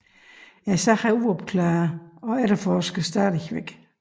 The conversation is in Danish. Sagen er uopklaret og efterforskes stadig